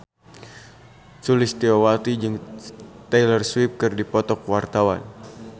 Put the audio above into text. Sulistyowati jeung Taylor Swift keur dipoto ku wartawan